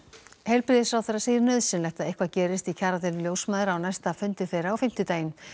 heilbrigðisráðherra segir nauðsynlegt að eitthvað gerist í kjaradeilu ljósmæðra á næsta fundi þeirra á fimmtudaginn